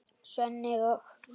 Svenni og